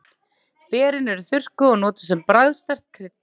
Berin eru þurrkuð og notuð sem bragðsterkt krydd.